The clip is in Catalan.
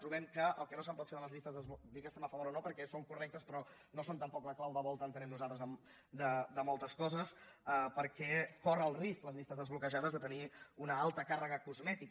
trobem que el que no se’n pot fer de les llistes és dir que estem a favor o no perquè són correctes però no són tampoc la clau de volta entenem nosaltres de moltes coses perquè corren el risc les llistes desbloquejades de tenir una alta càrrega cosmètica